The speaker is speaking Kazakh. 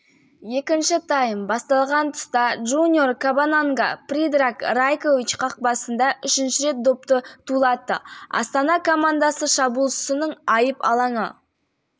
пас берді шабуылшының шиіре тепкен добы қақпа торынан табылды одан кейінгі аралықта астана ойыншылары бірнеше